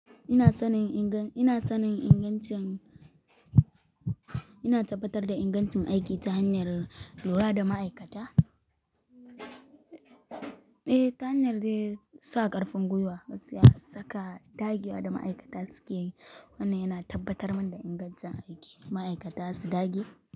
Ina sanin inga-- ina sanin ingancin-- ina tabbatar da ingancin aiki ta hanyar lura da ma'aikata. Eh, ta hanyar su sa ƙarfin gwiwa, su saka dagewa da ma'aikata suke yi. Wannan yana tabbatar da ingancin aiki. Ma'aikata su dage.